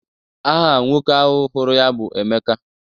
Aha nwoke ahụ hụrụ ya bụ Emeka.